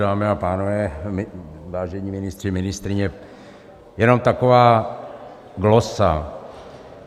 Dámy a pánové, vážení ministři, ministryně, jenom taková glosa.